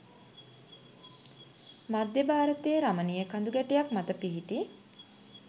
මධ්‍ය භාරතයේ රමණීය කඳුගැටයක් මත පිහිටි